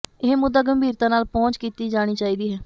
ਇਹ ਮੁੱਦਾ ਗੰਭੀਰਤਾ ਨਾਲ ਪਹੁੰਚ ਕੀਤੀ ਜਾਣੀ ਚਾਹੀਦੀ ਹੈ